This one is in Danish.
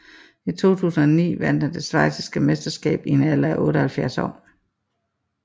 I 2009 vandt han det schweiziske mesterskab i en alder af 78 år